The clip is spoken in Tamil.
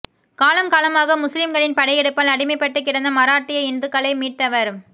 காலம் காலமாக முஸ்லிம்களின் படையெடுப்பால் அடிமைப்பட்டு கிடந்த மாரட்டிய இந்துக்களை மீட்டவர்